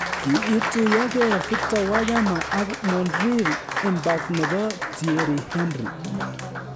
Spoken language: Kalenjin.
Kiituyogee Victor Wanyama ak Montreal Impact nebo Thiery Henry